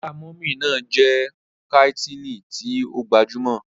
Ọlá mummy ná jẹ́ kàńtìnì tí ó gbajúmọ̀.